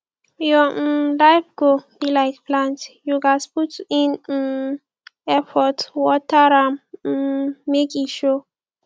your um life goal be like plant you ghas put in um effort water am um make e show